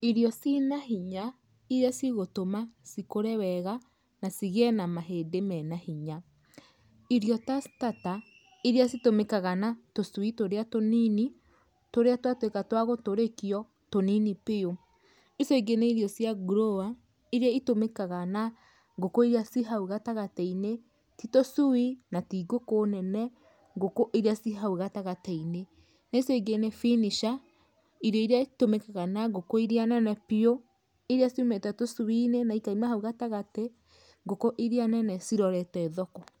Irio ci na hinya, iria cigũtũma cikũre wega, na cigĩĩ na mahĩndĩ mena hinya. Irio ta starter, iria citũmĩkaga na tũcui tũrĩa tũnini, tũrĩa twa twĩka twa gũtũrĩkio, tũnini biũ. Icio ingĩ nĩ irio cia grower, iria itũmĩkaga na ngũkũ iria ci hau gatagati-inĩ, ti tũcui, na ti ngũkũ nene, ngũkũ iria ci hau gatagati-inĩ. Na icio ingĩ nĩ finisher, irio iria itũmikaga na ngũkũ iria nene biũ, iria ciumĩte tũcui-inĩ na ikaima hau gatagati, ngũkũ iria nene cirorete thoko.